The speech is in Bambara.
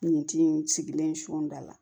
Nin ti in sigilen suda la